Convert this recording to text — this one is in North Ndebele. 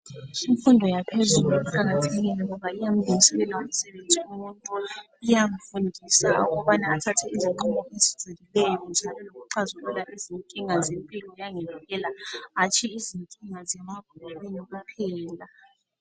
Imfundo yaphezulu iqakathekile, ngoba iyamlungiselela umuntu. Iyamfundisa ukuthi axazulule izinkinga zempilo. Hatshi izininga zemabhukwini kuphela.